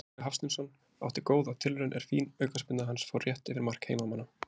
Tryggvi Hafsteinsson átti góða tilraun er fín aukaspyrna hans fór rétt yfir mark heimamanna.